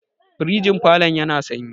firgin falon yana sanyi